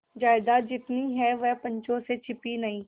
जायदाद जितनी है वह पंचों से छिपी नहीं